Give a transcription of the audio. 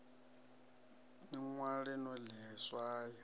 ḽi ṅwale no ḽi swaya